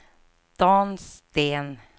Dan Sten